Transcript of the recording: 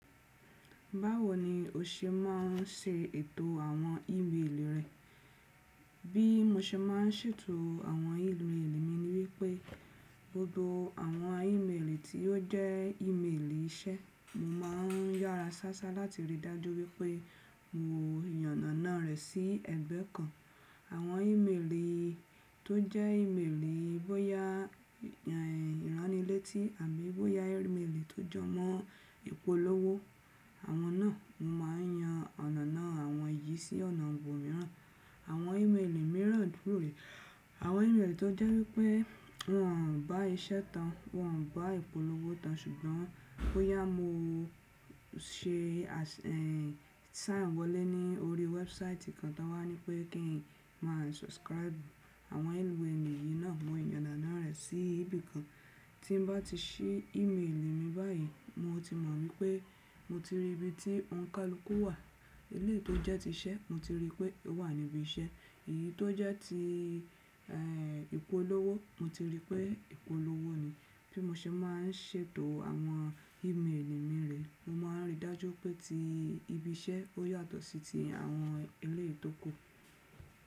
Báwo ni o ṣe máà ń ṣe ètò àwọn ímeèlì rẹ? Bí mo ṣe máà ń ṣètò àwọn ímeèlì mi ni wípé gbogbo àwọn ímeèlì tí ó jẹ́ ímeèlì iṣẹ́, mo máà ń yára sásá láti rí dájú wípé mo yan nà náà rẹ̀ sí ẹ̀gbẹ́ kan. Àwọn ímeèlì tó jẹ́ ímeèlì bóyá ìránilétí àbí bóyá ímeèlì tó jọ mọ́ ìpolówó, àwọn náà mo máà ń yan ọ̀nà náà àwọn yìí sí ọ̀nà ibò mìíràn. Àwọn ímeèlì mìíràn dúró rẹ̀. Àwọn ímeèlì tó jẹ́ wípé wọ́n ò bá iṣẹ́ tán, wọ́n ò bá ìpolówó tán ṣùgbọ́n bóyá mo ṣe sán wọlé ní orí wẹ́ẹ́búsáìtì kan táa wá ní pé kí n máa subscribe àwọn ímeèlì yìí náà, mo yan ọ̀nà náà rẹ̀ sí ibì kan. Tí n bá ti ṣí ímeèlì mi báyìí mo ti mọ̀ wípé mo ti rí ibi tí òǹkálùkù wà. Ilé tó jẹ́ ti iṣẹ́, mo ti rí pé ó wà níbi iṣẹ́. Èyí tó jẹ́ ti ìpolówó, mo ti rí pé ìpolówó ni. Bí mo ṣe máà ń ṣètò àwọn ímeèlì mi rẹ̀, mo máà ń ríi dájú pé tí ibi iṣẹ́ ó yàtọ̀ sí ti àwọn ilé ìtóko.